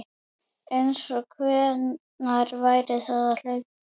Einsog einhver væri að hlaupa